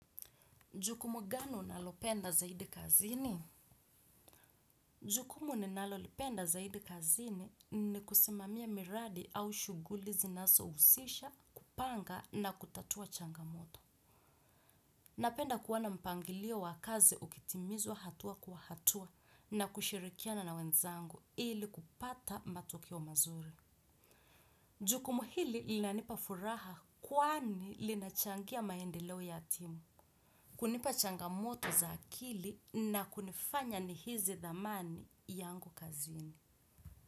Jukumu gani unalopenda zaidi kazini? Jukumu ninalolipenda zaidi kazini ni kusimamia miradi au shuguli zinazo husisha, kupanga na kutatua changamoto. Napenda kuwona mpangilio wa kazi ukitimizwa hatua kwa hatua na kushirikiana na wenzangu ili kupata matokeo mazuri. Jukumu hili linanipafuraha kwani li nachangia maendelewo ya timu. Hunipa changamoto za akili na kunifanya ni hizi dhamani yangu kazini.